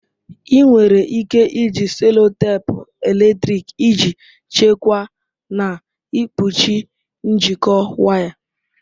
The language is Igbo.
Ị nwere ike iji sellotape eletrịk iji chekwaa na ikpuchi njikọ waya.